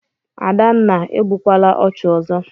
Adanna, egbukwala ọchụ ọzọ!